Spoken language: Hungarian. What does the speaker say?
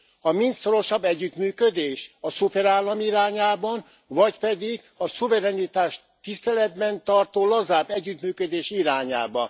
A mind szorosabb együttműködés, a szuperállam irányába, vagy pedig a szuverenitást tiszteletben tartó, lazább együttműködés irányába?